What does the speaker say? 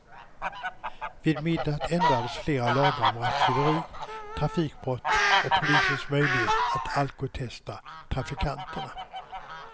Vid midnatt ändrades flera lagar om rattfylleri, trafikbrott och polisens möjlighet att alkotesta trafikanterna.